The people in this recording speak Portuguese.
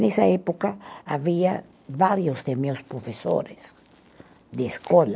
Nessa época, havia vários de meus professores de escola.